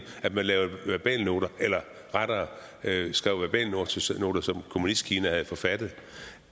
at de lavede verbalnoter eller rettere skrev verbalnoter som kommunistkina havde forfattet